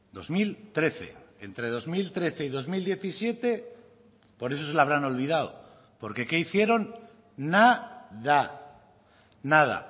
dos mil trece entre dos mil trece y dos mil diecisiete por eso se le habrán olvidado porque qué hicieron nada nada